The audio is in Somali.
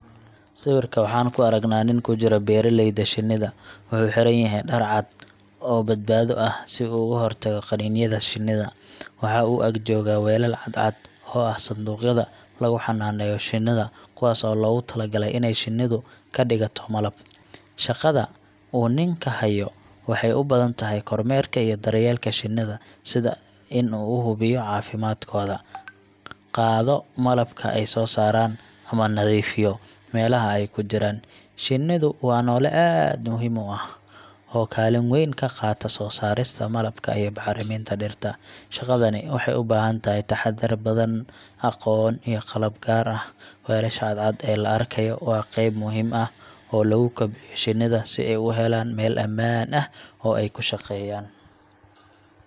Sawirka waxaan ku aragnaa nin ku jira beeraleyda shinnida. Wuxuu xiran yahay dhar cad oo badbaado ah si uu uga hortago qaniinyada shinnida. Waxa uu ag jooga weelal cadcad oo ah sanduuqyada lagu xanaaneeyo shinnida, kuwaas oo loogu talagalay inay shinnidu ka dhigato malab. Shaqada uu ninku hayo waxay u badan tahay kormeerka iyo daryeelka shinnida sida in uu hubiyo caafimaadkooda, qaado malabka ay soo saareen, ama nadiifiyo meelaha ay ku jiraan. Shinnidu waa noole aad muhiim u ah oo kaalin weyn ka qaata soo saarista malabka iyo bacriminta dhirta. Shaqadani waxay u baahan tahay taxaddar badan, aqoon, iyo qalab gaar ah. Weelasha cadcad ee la arkayo waa qayb muhiim ah oo lagu kobciyo shinnida si ay u helaan meel ammaan ah oo ay ku shaqeeyaan.